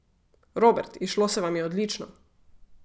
Robert, izšlo se vam je odlično.